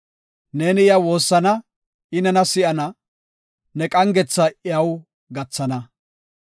Neeni iya woossana, I nena si7ana; ne qangetha iyaw gathana.